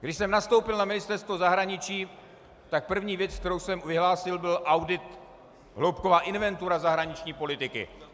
Když jsem nastoupil na Ministerstvo zahraničí, tak první věc, kterou jsem vyhlásil, byl audit, hloubková inventura zahraniční politiky.